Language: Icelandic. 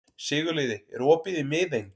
Sigurliði, er opið í Miðeind?